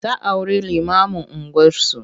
Ta auri limamun unguwarsu.